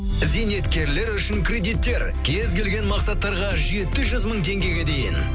зейнеткерлер үшін кредиттер кез келген мақсаттарға жеті жүз мың теңгеге дейін